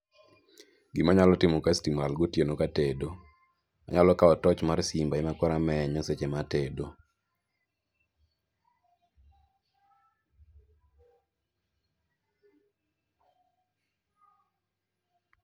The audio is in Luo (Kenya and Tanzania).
Gimanyalo timo ka sitima olal gotieno katedo, anyalo kawo toch mar simba ema koro amenyo seche matedo.